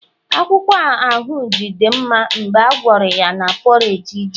akwukwo ahunji di nma mgbe agwara ya na porridge ji